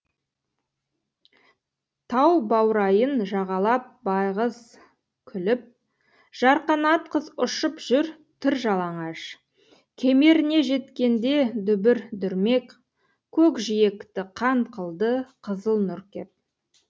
тау баурайын жағалап байғыз күліп жарқанат қыз ұшып жүр тыр жалаңаш кемеріне жеткенде дүбір дүрмек көкжиекті қан қылды қызыл нұр кеп